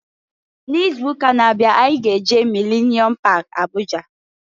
N'izuụka na-abịa anyị ga-eje Milenium pak Abụja.